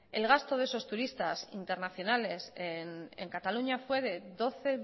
el gasto de esos turistas internacionales en cataluña fue de doce